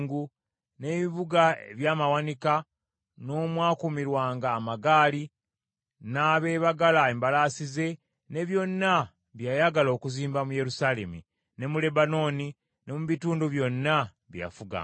n’ebibuga eby’amawanika, n’omwakuumirwanga amagaali, n’abeebagala embalaasi ze, ne byonna bye yayagala okuzimba mu Yerusaalemi, ne mu Lebanooni ne mu bitundu byonna bye yafuganga.